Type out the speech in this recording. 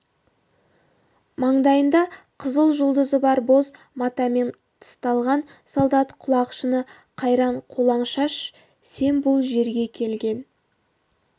маңдайында қызыл жұлдызы бар боз матамен тысталған солдат құлақшыны қайран қолаң шаш сен бұл жерге келген